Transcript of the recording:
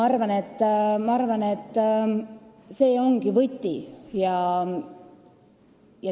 Ma arvan, et see ongi võti.